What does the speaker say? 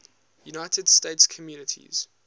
united states communities